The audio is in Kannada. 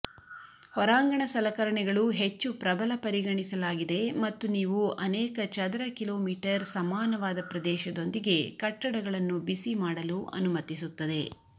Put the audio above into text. ಹೊರಾಂಗಣ ಸಲಕರಣೆಗಳು ಹೆಚ್ಚು ಪ್ರಬಲ ಪರಿಗಣಿಸಲಾಗಿದೆ ಮತ್ತು ನೀವು ಅನೇಕ ಚದರ ಕಿಲೋಮೀಟರ್ ಸಮಾನವಾದ ಪ್ರದೇಶದೊಂದಿಗೆ ಕಟ್ಟಡಗಳನ್ನು ಬಿಸಿಮಾಡಲು ಅನುಮತಿಸುತ್ತದೆ